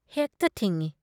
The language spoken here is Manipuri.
ꯍꯦꯛꯇ ꯊꯤꯡꯢ ꯫